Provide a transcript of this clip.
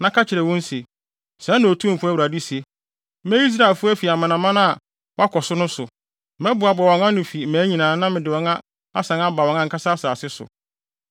na ka kyerɛ wɔn se, ‘Sɛɛ na Otumfo Awurade se: Meyi Israelfo afi amanaman a wɔakɔ so no so. Mɛboaboa wɔn ano afi mmaa nyinaa na mede wɔn asan aba wɔn ankasa asase so.